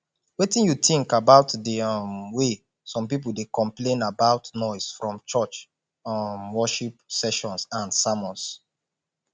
wetin you think about di um way some people dey complain about noise from church um worship sessions and sermons